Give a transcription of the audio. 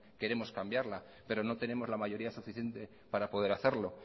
queremos cambiarla pero no tenemos la mayoría suficiente para poder hacerlo